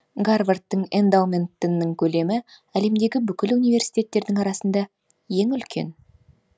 гарвардтың эндаументтінің көлемі әлемдегі бүкіл университеттердің арасында ең үлкен